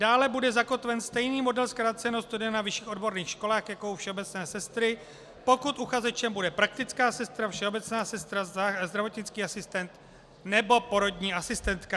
Dále bude zakotven stejný model zkráceného studia na vyšších odborných školách jako u všeobecné sestry, pokud uchazečem bude praktická sestra, všeobecná sestra, zdravotnický asistent nebo porodní asistentka.